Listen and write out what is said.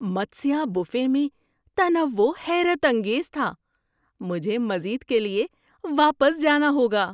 Matsya buffet میں تنوع حیرت انگیز تھا! مجھے مزید کے لیے واپس جانا ہوگا۔